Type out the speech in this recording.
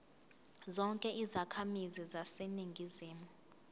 zonke izakhamizi zaseningizimu